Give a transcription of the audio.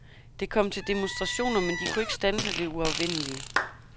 Det kom til demonstrationer, men de kunne ikke standse det uafvendelige.